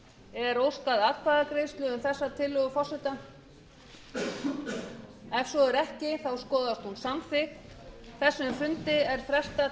er óskað atkvæðagreiðslu um þessa tillögu forseta ef svo er ekki skoðast hún samþykkt